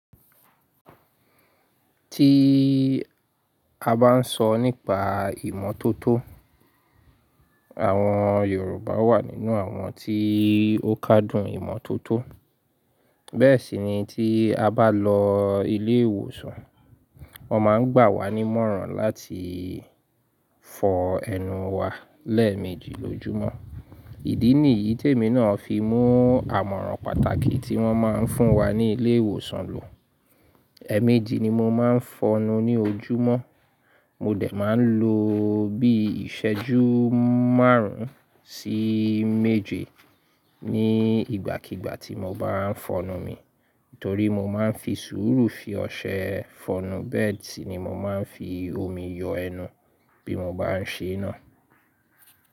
Tí a bá ń sọ nípa ìmọ́tótó, àwọn Yorùbá wà nínú àwọn tí ó kádùn ìmọ́tótó. Bẹ́ẹ̀ sì ni tí a bá lọ ilé ìwòsàn, wọn máa ń gbà wá ní ìmọ̀ràn láti fọ ẹnu wa lẹ́ẹ̀méjì lójúmọ́. Ìdí ní yìí tèmi náà fi mú àmọ̀ràn pàtàkì tí wọ́n máa ń fún wa ní ilé ìwòsàn lò. Ẹ̀ẹ̀méjì ni mo máa ń fọnu ní ojúmọ́. Mo dẹ̀ máa ń lo bí ìṣẹ́jú márùn-ún sí méje ní ìgbàkígbà tí mo bá ń fọnu mi. Nítorí mo máa ń fi sùúrù fi ọṣẹ fọnu. Bẹ́ẹ̀ sì ni mo máa ń fi omi yọ ẹnu bí mo bá ṣe náà.